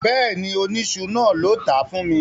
Bẹ́ẹ̀ni, oníṣu náà ló tàá fún mi